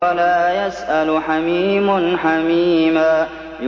وَلَا يَسْأَلُ حَمِيمٌ حَمِيمًا